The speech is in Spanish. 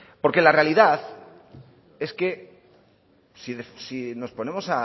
porque la realidad es que si nos ponemos